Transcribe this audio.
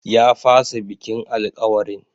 Ya fasa bikin alkawarin.